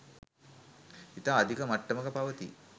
ඉතා අධික මට්ටමක පවතී.